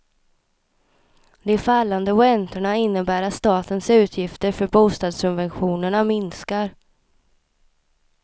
De fallande räntorna innebär att statens utgifter för bostadssubventionerna minskar.